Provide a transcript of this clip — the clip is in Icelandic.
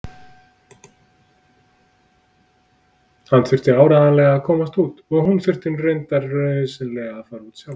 Hann þurfti áreiðanlega að komast út og hún þurfti reyndar nauðsynlega að fara sjálf.